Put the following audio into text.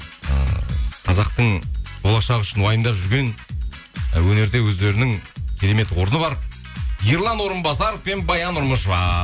ыыы қазақтың болашағы үшін уайымдап жүрген өнерде өздерінің керемет орны бар ерлан орынбасаров пен баян нұрмышева